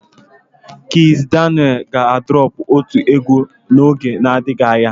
Kizz Daniel ga droọpu otu egwu n'oge adịghị anya.